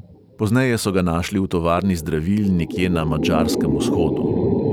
Pozneje so ga našli v tovarni zdravil nekje na madžarskem vzhodu.